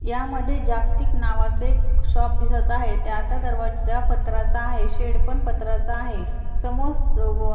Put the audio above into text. या मध्ये जागतिक नावाचे शॉप दिसत आहेत त्याचा दरवाजा पत्राचा आहे शेड पण पत्राचा आहे समोर स व--